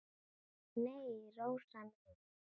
Nei, Rósa mín.